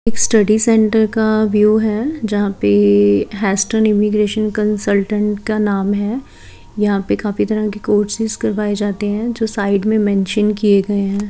एक study centre का view है जहाँ पे हेस्टन इमिग्रेशन कंसल्टेंट का नाम है यहाँ पे काफी तरह के कोर्सेस करवाये जाते है जो साइड में मेंशन किए गए है।